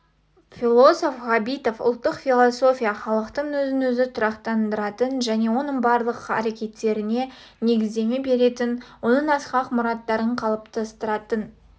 философ ғабитов ұлттық философия халықтың өзін-өзі тұрақтандыратын және оның барлық әрекеттеріне негіздеме беретін оның асқақ мұраттарын қалыптастыратын